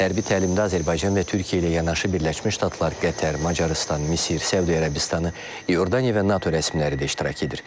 Hərbi təlimdə Azərbaycan və Türkiyə ilə yanaşı Birləşmiş Ştatlar, Qətər, Macarıstan, Misir, Səudiyyə Ərəbistanı, İordaniya və NATO rəsmiləri də iştirak edir.